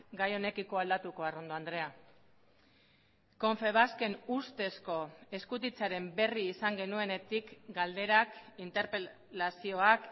gai honekiko aldatuko arrondo andrea konfebasken ustezko eskutitzaren berri izan genuenetik galderak interpelazioak